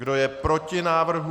Kdo je proti návrhu?